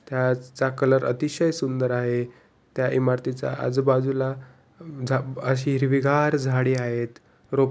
त्याचा कलर अतिशय सुंदर आहे. त्या इमारतीच्या आजूबाजूला जा अशी हिरवीगार झाडी आहेत रोप --